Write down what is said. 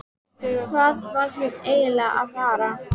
Hvað var hún eiginlega að fara?